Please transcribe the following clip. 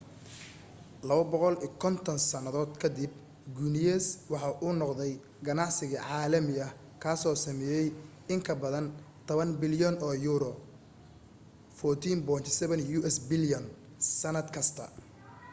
250 sannadood ka dib guiness waxa uu noqday ganacsi caalami ah kaasoo sameeya in ka badan 10 bilyan oo yuuro us$14.7 bilyan sannad kasta